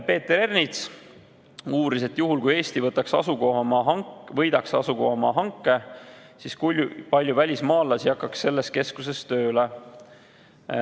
Peeter Ernits uuris, et juhul, kui Eesti võidaks asukohamaa hanke, kui palju välismaalasi hakkaks selles keskuses tööle.